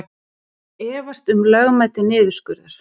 Efast um lögmæti niðurskurðar